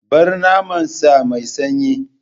Bar naman sa mai sanyi!